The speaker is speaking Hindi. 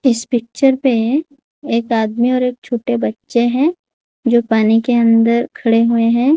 इस पिक्चर पे एक आदमी और एक छोटे बच्चे हैं जो पानी के अंदर खड़े हुए हैं।